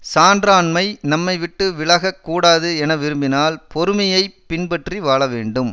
சான்றாண்மை நம்மைவிட்டு விலக கூடாது என விரும்பினால் பொறுமையை பின்பற்றி வாழ வேண்டும்